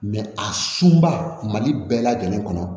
a sunba mali bɛɛ lajɛlen kɔnɔ